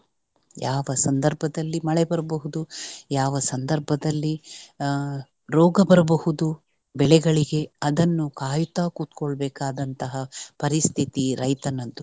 ಯಾವ ಸಂದರ್ಭದಲ್ಲಿ ಮಳೆ ಬರ್ಬಹುದು ಯಾವ ಸಂದರ್ಭದಲ್ಲಿ ಅಹ್ ರೋಗ ಬರ್ಬಹುದು ಬೆಳೆಗಳಿಗೆ ಅದನ್ನ ಕಾಯುತ್ತ ಕುತ್ಕೊಳ್ ಬೇಕಾದಂತ ಪರಿಸ್ಥಿತಿ ರೈತನದ್ದು.